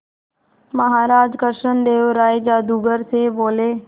महाराज कृष्णदेव राय जादूगर से बोले